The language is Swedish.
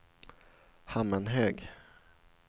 Hammenhög